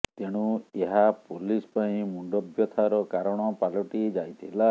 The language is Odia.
ତେଣୁ ଏହା ପୋଲିସ ପାଇଁ ମୁଣ୍ଡବ୍ୟଥାର କାରଣ ପାଲଟି ଯାଇଥିଲା